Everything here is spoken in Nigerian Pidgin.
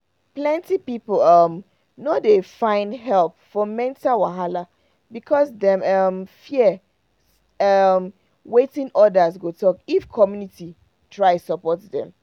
plenty people um no dey find help for mental wahala because dem um fear um wetin others go talk if community try support dem.